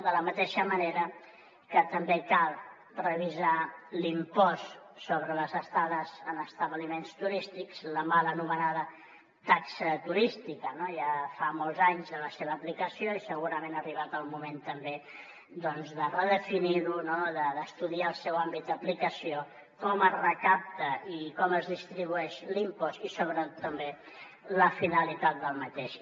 de la mateixa manera que també cal revisar l’impost sobre les estades en establiments turístics la mal anomenada taxa turística no ja fa molts anys de la seva aplicació i segurament ha arribat el moment també de redefinir ho d’estudiar el seu àmbit d’aplicació com es recapta i com es distribueix l’impost i sobretot també la finalitat del mateix